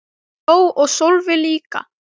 Ég hló og Sölvi líka.